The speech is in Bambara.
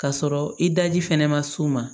K'a sɔrɔ i daji fɛnɛ ma s'u ma